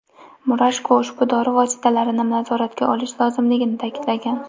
Murashko ushbu dori vositalarini nazoratga olish lozimligini ta’kidlagan.